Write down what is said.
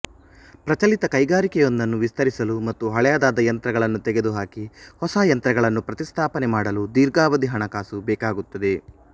ಪ್ರಚಲಿತ ಕೈಗಾರಿಕೆಯೊಂದನ್ನು ವಿಸ್ತರಿಸಲು ಮತ್ತು ಹಳೆಯದಾದ ಯಂತ್ರಗಳನ್ನು ತೆಗೆದುಹಾಕಿ ಹೊಸ ಯಂತ್ರಗಳನ್ನು ಪ್ರತಿಸ್ಥಾಪನೆ ಮಾಡಲು ದೀರ್ಘಾವಧಿ ಹಣಕಾಸು ಬೇಕಾಗುತ್ತದೆ